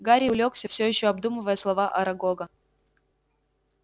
гарри улёгся всё ещё обдумывая слова арагога